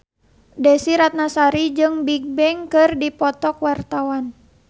Desy Ratnasari jeung Bigbang keur dipoto ku wartawan